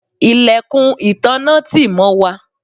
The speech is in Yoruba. ilẹ̀kùn ìtanná tì mọ́ wà